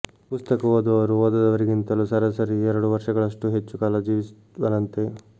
ಪುಸ್ತಕ ಓದುವವರು ಓದದವರಿಗಿಂತಲೂ ಸರಾಸರಿ ಎರಡು ವರ್ಷಗಳಷ್ಟು ಹೆಚ್ಚು ಕಾಲ ಜೀವಿಸುವರಂತೆ